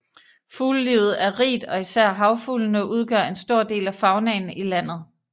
Fuglelivet er rigt og især havfuglene udgør en stor del af faunaen i landet